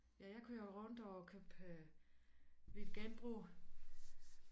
Jeg jeg kører rundt og køber lidt genbrug